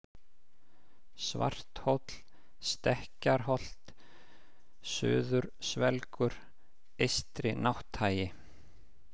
Svarthóll, Stekkjarholt, Suðursvelgur, Eystri-Nátthagi